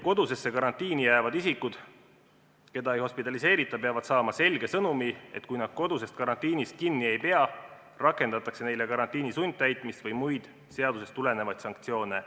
Kodusesse karantiini jäävad isikud, keda ei hospitaliseerita, peavad saama selge sõnumi, et kui nad koduse karantiini tingimustest kinni ei pea, rakendatakse neile karantiini sundtäitmist või muid seadusest tulenevaid sanktsioone.